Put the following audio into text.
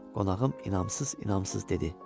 Qonağım inamsız-inamsız dedi.